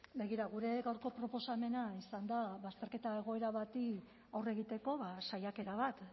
begira gure gaurko proposamena izan da bazterketa egoera bati aurre egiteko saiakera bat